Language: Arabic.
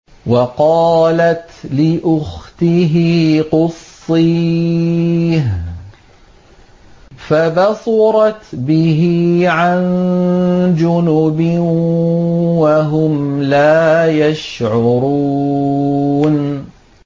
وَقَالَتْ لِأُخْتِهِ قُصِّيهِ ۖ فَبَصُرَتْ بِهِ عَن جُنُبٍ وَهُمْ لَا يَشْعُرُونَ